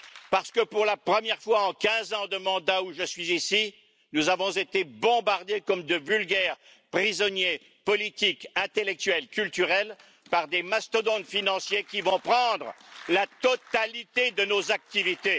Parce que pour la première fois en quinze ans de mandat où je suis ici, nous avons été bombardés comme de vulgaires prisonniers politiques intellectuels culturels par des mastodontes financiers qui vont prendre la totalité de nos activités.